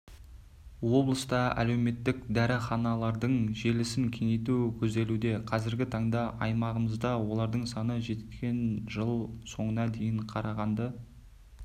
облыста әлеуметтік дәріханалардың желісін кеңейту көзделуде қазіргі таңда аймағымызда олардың саны жеткен жыл соңына дейін қарағанды